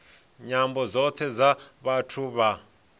nyambo dzothe dza vhathu vha